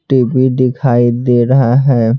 TV दिखाई दे रहा है।